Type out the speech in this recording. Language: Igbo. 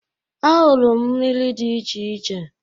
Ahụrụ m miri di iche iche.